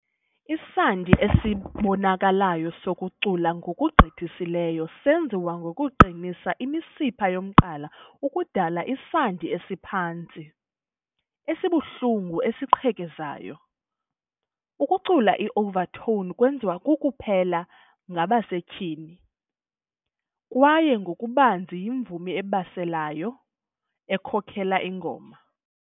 Isandi esibonakalayo sokucula ngokugqithisileyo senziwa ngokuqinisa imisipha yomqala ukudala isandi esiphantsi, esibuhlungu, esiqhekezayo. Ukucula i-Overtone kwenziwa kuphela ngabasetyhini kwaye ngokubanzi yimvumi ebalaseleyo ekhokela ingoma. .